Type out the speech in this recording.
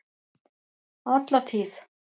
Alla tíð!